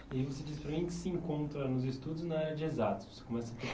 E você disse para mim que se encontra nos estudos na área de exatas. Você começa a